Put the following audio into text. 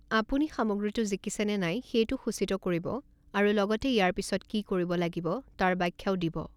আপুনি সামগ্ৰীটো জিকিছে নে নাই সেইটো সূচিত কৰিব আৰু লগতে ইয়াৰ পিছত কি কৰিব লাগিব তাৰ ব্যাখ্যাও দিব।